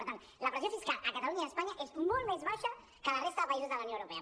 per tant la pressió fiscal a catalunya i a espanya és molt més baixa que a la resta de països de la unió europea